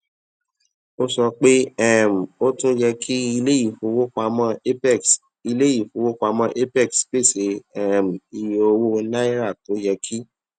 ó sọ pé um ó tún yẹ kí iléifowopamọ apex iléifowopamọ apex pèsè um iye owó naira tó yẹ kí